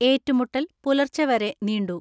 ഏറ്റുമുട്ടൽ പുലർച്ചെവരെ നീണ്ടു.